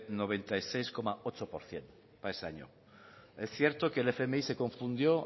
noventa y seis coma ocho por ciento para ese año es cierto que el fmi se confundió